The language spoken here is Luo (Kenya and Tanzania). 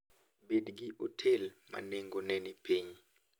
Bed gi otel ma nengogi ni piny.